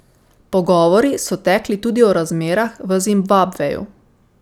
Pogovori so tekli tudi o razmerah v Zimbabveju.